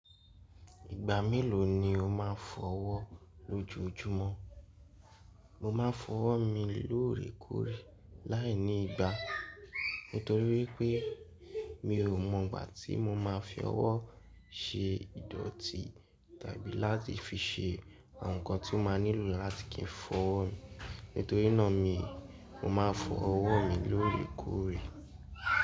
Ìgbà mélòó ni o máa ń fọ ọwọ́ lójúojúmọ́? Mo máa ń fọ ọwọ́ mi lóòrèkóòrè láìní ìgbà, nítorí pé mi ò mọ ìgbà tí mo máa fi ọwọ́ ṣe ìdọ̀tí tàbí láti fi ṣe àwọn nǹkan tí ó máa nílò láti kí n fọ ọwọ́ mi, nítorínà ni, mo máa ń fọ ọwọ́ mi lóòrèkóòrè.